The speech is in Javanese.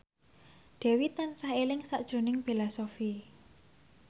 Dewi tansah eling sakjroning Bella Shofie